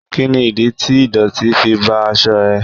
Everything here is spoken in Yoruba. Kí ni ìdí tí ìdọ̀tí fi bá aṣọ iṣẹ́ ẹ?